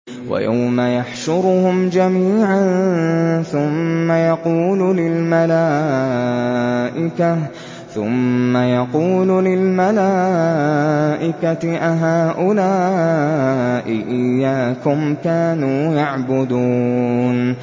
وَيَوْمَ يَحْشُرُهُمْ جَمِيعًا ثُمَّ يَقُولُ لِلْمَلَائِكَةِ أَهَٰؤُلَاءِ إِيَّاكُمْ كَانُوا يَعْبُدُونَ